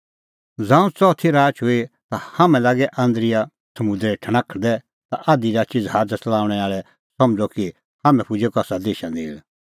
ज़ांऊं च़ौदुई राच हुई हाम्हैं लागै आन्द्रिया समुंदरै ठणाखदै ता आधी राची ज़हाज़ च़लाऊंणैं आल़ै समझ़अ कि हाम्हैं पुजै कसा देशा नेल़